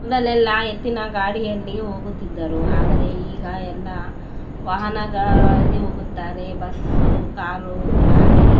ಮೊದಲೆಲ್ಲ ಎತ್ತಿನ ಗಾಡಿಯಲ್ಲಿ ಹೋಗುತ್ತಿದ್ದರು ಆದರೆ ಈಗ ಎಲ್ಲ ವಾಹನ ಗಳಲ್ಲಿ ಹೋಗುತ್ತಾರೆ ಬಸ್ಸು ಕಾರು ಲಾರಿ --